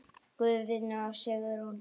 Guðni og Sigrún.